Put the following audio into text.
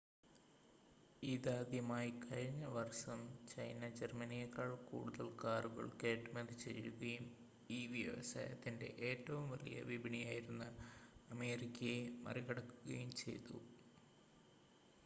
ഇതാദ്യമായി കഴിഞ്ഞ വർഷം ചൈന ജർമ്മനിയേക്കാൾ കൂടുതൽ കാറുകൾ കയറ്റുമതി ചെയ്യുകയും ഈ വ്യവസായത്തിൻ്റെ ഏറ്റവും വലിയ വിപണിയായിരുന്ന അമേരിക്കയെ മറികടക്കുകയും ചെയ്തു